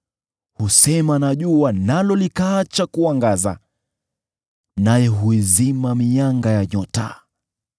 Husema na jua, nalo likaacha kuangaza; naye huizima mianga ya nyota.